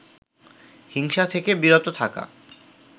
হিংসা থেকে বিরত থাকা